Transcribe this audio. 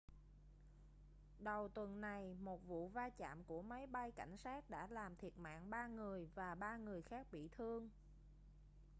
đầu tuần này một vụ va chạm của máy bay cảnh sát đã làm thiệt mạng ba người và ba người khác bị thương